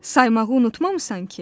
Saymağı unutmamısan ki?